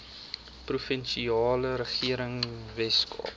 provinsiale regering weskaap